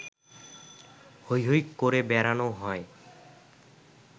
হৈ হৈ করে বেড়ানো হয়